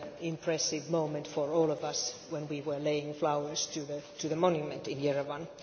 impressive moment for all of us when we were laying flowers on the monument in Yerevan.